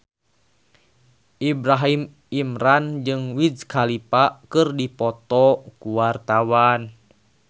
Ibrahim Imran jeung Wiz Khalifa keur dipoto ku wartawan